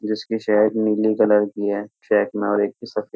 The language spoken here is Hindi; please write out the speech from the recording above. जिसकी शैक नीली कलर की है। शैक में और एक सफ़े --